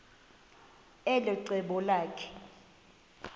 elo cebo lakhe